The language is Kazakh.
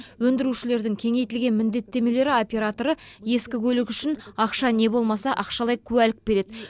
өндірушілердің кеңейтілген міндеттемелері операторы ескі көлік үшін ақша не болмаса ақшалай куәлік береді